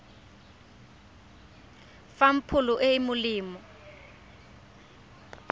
fang pholo e e molemo